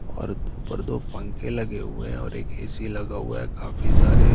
और ऊपर दो पंखे लगे हुए हैं और एक ए.सी लगा हुआ है काफी सारे--